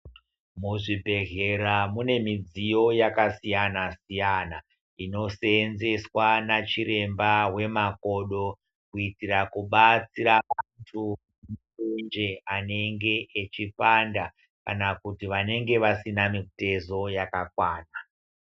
Muzvibhedhlera mune midziyo yakasiyana-siyana, inoseenzeswa nachiremba wemakodo ,kuitira kubatsira vantu wonje anenge echipanda kana kuti vanenge vasina mitezo yakakwana.